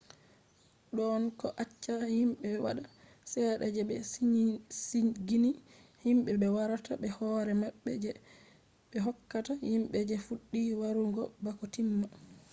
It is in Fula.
don ko accata himbe-wada sedda je be sigini himbe be warata be hore mabbe je be hokkata himbe je fuddi warugo bako timma